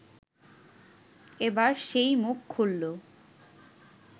এবার সেই মুখ খুললো